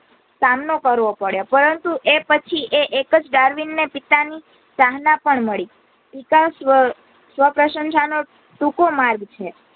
સામનો કરવો પડ્યો પરંતુ તે એક પછી એક ડાર્વીનગ ને પિતા ની સરાહના પણ મળી પિતા સ્વ સ્વપ્રશંષા નો ટુકો માર્ગ છે